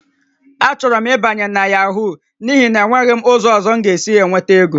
Achọrọ m ịbanye na Yahoo n'ihi na enweghị m ụzọ ọzọ m ga-esi enweta ego